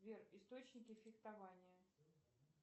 сбер источники фехтования